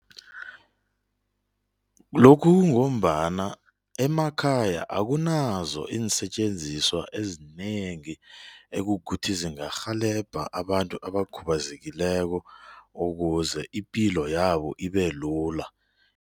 Lokhu kungombana emakhaya akunazo iinsetjenziswa ezinengi ekukuthi zingarhelebha abantu abakhubazekileko ukuze ipilo yabo ibe lula.